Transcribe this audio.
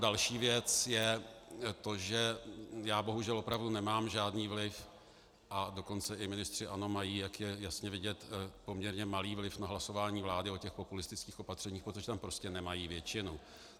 Další věc je to, že já bohužel opravdu nemám žádný vliv, a dokonce i ministři ANO mají, jak je jasně vidět, poměrně malý vliv na hlasování vlády o těch populistických opatřeních, protože tam prostě nemají většinu.